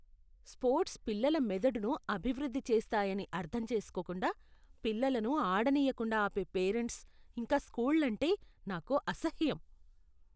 Sports పిల్లల మెదడును అభివృద్ధి చేస్తాయని అర్థం చేసుకోకుండా, పిల్లలను ఆడనీయకుండా ఆపే పేరెంట్స్, ఇంకా స్కూళ్లంటే నాకు అసహ్యం.